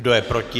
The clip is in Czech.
Kdo je proti?